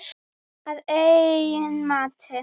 Að eigin mati.